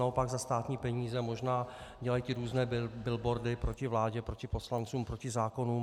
Naopak za státní peníze možná dělají ty různé billboardy proti vládě, proti poslancům, proti zákonům.